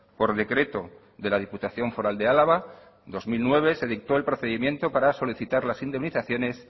por decreto de la diputación foral de álava dos mil nueve se dictó el procedimiento para solicitar las indemnizaciones